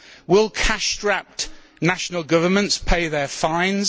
Will cash strapped national governments pay their fines?